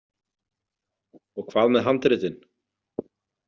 Og hvað með handritin?